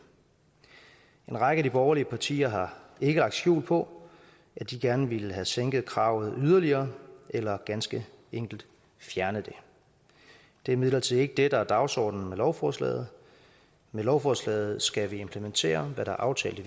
en række af de borgerlige partier har ikke lagt skjul på at de gerne ville have sænket kravet yderligere eller ganske enkelt fjernet det det er imidlertid ikke det der er dagsordenen med lovforslaget med lovforslaget skal vi implementere hvad der er aftalt i